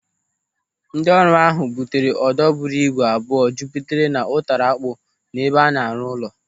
Ndị ọrụ ahụ butere odo buru ibu abụọ jupụtara n'ụtara akpụ n'ebe a na-arụ ụlọ.